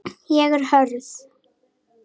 Ég er hörð.